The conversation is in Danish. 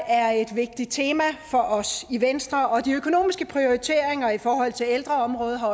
er et vigtigt tema for os i venstre og de økonomiske prioriteringer i forhold til ældreområdet